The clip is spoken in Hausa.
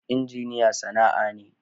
Injiniya sana'a ne.